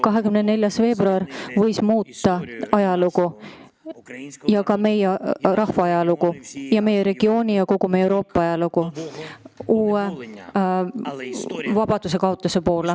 24. veebruar oleks võinud muuta meie, Ukraina rahva ajalugu, meie regiooni ja kogu Euroopa ajalugu, tuues kaasa uue vabadusekaotuse.